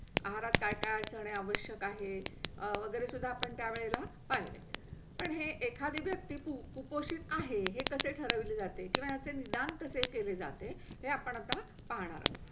आहारात काय काय असणे आवश्यक आहे वगैरे सुद्धा आपण त्या वेळेला पाणी. पण हे एखादी व्यक्ती कुपोषित आहे हे कसे ठरवले जाते किंवा असे निदान कसे केले जाते हे आपण आता पाहणार आहो.